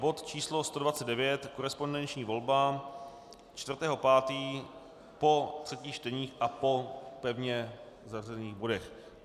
Bod číslo 129, korespondenční volba, 4. 5. po třetích čteních a po pevně zařazených bodech.